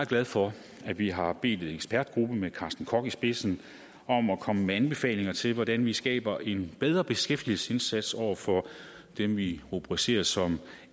glad for at vi har bedt en ekspertgruppe med carsten koch i spidsen om at komme med anbefalinger til hvordan vi skaber en bedre beskæftigelsesindsats over for dem vi rubricerer som